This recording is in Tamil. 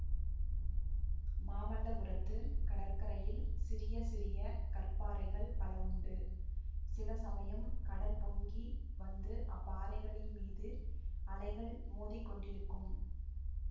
மாமல்லபுரத்துக் கடற்கரையில் சிறிய சிறிய கற்பாறைகள் பல உண்டு சில சமயம் கடல் பொங்கி வந்து அப்பாறைகளின் மீது அலைகள் மோதி கொண்டிருக்கும்